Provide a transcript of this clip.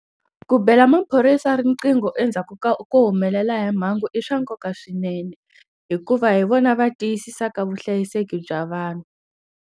Ku bela maphorisa riqingho endzhaku ko humelela hi mhangu i swa nkoka swinene hikuva hi vona va tiyisisa ka vuhlayiseki bya vanhu.